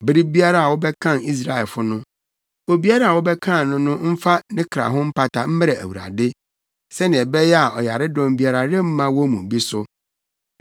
“Bere biara a wobɛkan Israelfo no, obiara a wɔbɛkan no no mfa ne kra ho mpata mmrɛ Awurade, sɛnea ɛbɛyɛ a ɔyaredɔm biara remma wɔn mu bi so.